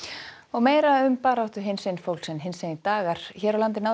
meira um baráttu hinsegin fólks hinsegin dagar hér á landi náðu